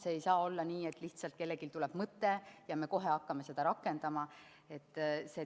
Ei saa olla nii, et kellelgi lihtsalt tuleb mõte ja me kohe hakkame seda rakendama.